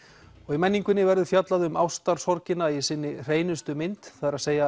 í menningunni verður fjallað um ástarsorgina í sinni hreinustu mynd það er